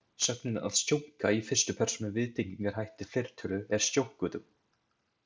Sögnin „að stjónka“ í fyrstu persónu viðtengingarhætti, fleirtölu er „stjónkuðum“.